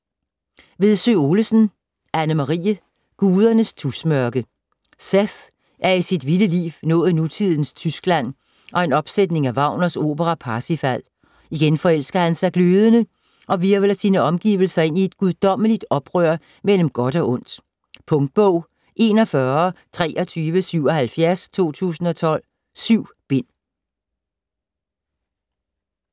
Vedsø Olesen, Anne-Marie: Gudernes tusmørke Seth er i sit vilde liv nået nutidens Tyskland og en opsætning af Wagners opera Parsifal. Igen forelsker han sig glødende, og hvirvler sine omgivelser ind i et guddommeligt oprør mellem godt og ondt. Punktbog 412377 2012. 7 bind.